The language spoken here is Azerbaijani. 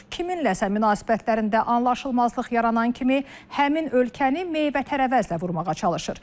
Kiminləsə münasibətlərində anlaşılmazlıq yaranan kimi həmin ölkəni meyvə-tərəvəzlə vurmağa çalışır.